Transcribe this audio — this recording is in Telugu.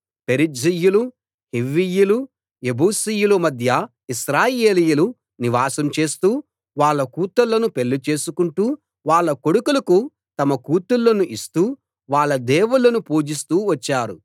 పెరిజ్జీయులు హివ్వీయులు ఎబూసీయుల మధ్య ఇశ్రాయేలీయులు నివాసం చేస్తూ వాళ్ళ కూతుళ్ళను పెళ్లిచేసుకుంటూ వాళ్ళ కొడుకులకు తమ కూతుళ్ళను ఇస్తూ వాళ్ళ దేవుళ్ళను పూజిస్తూ వచ్చారు